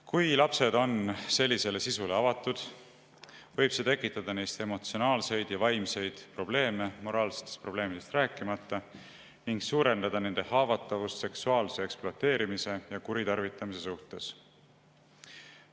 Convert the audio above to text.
Kui lapsed on sellisele sisule avatud, võib see tekitada neis emotsionaalseid ja vaimseid probleeme, moraalsetest probleemidest rääkimata, ning suurendada nende haavatavust seksuaalse ekspluateerimise ja kuritarvitamise suhtes.